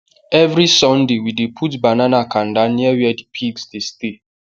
everysonday we dey put banana kanda near where the pigs dey stay